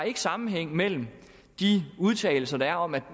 ikke sammenhæng mellem de udtalelser der er om at